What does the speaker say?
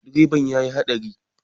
Direban ya yi haɗari.